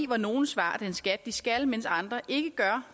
hvor nogle svarer den skat de skal mens andre ikke gør